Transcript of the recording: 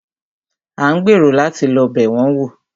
A ń gbèrò láti lọ́ bẹ̀ wọn wò.